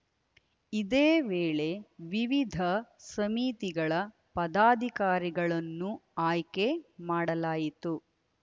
ಇದೇ ವೇಳೆ ವಿವಿಧ ಸಮಿತಿಗಳ ಪದಾಧಿಕಾರಿಗಳನ್ನು ಆಯ್ಕೆ ಮಾಡಲಾಯಿತು